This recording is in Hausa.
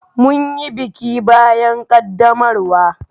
Mun yi biki bayan ƙaddamarwa.